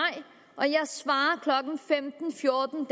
klokken femten fjorten